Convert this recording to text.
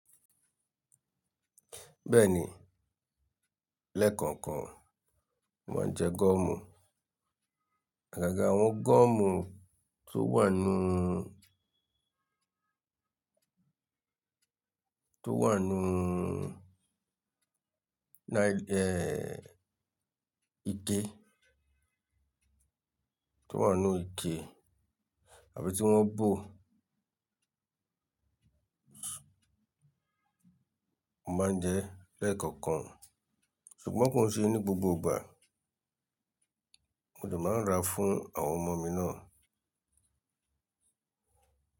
Bẹ́ẹ̀ni, lẹ́ẹ̀kọ̀kan mò máa ń jẹ gọ́ọ̀mù. Àgàgà àwọn gọ́ọ̀mù tó wà nú, tó wà nú ní, ike, tó wà nú ike àbí tí wọ́n bò, Mó máa ń jẹ ẹ́ lẹ́ẹ̀kọ̀kan. Ṣùgbọ́n kò ń ṣe ní gbogbo ìgbà. Mo de máa ń rà fún àwọn ọmọ mi náà.